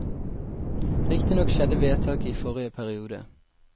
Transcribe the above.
Riktignok skjedde vedtaket i forrige periode.